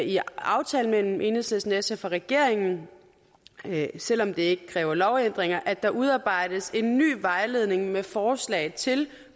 i aftalen mellem enhedslisten sf og regeringen selv om det ikke kræver lovændringer at der udarbejdes en ny vejledning med forslag til